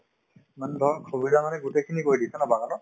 মানে ধৰক সুবিধা মানে গোটেইখিনি কৰি দিছে ন বাগানত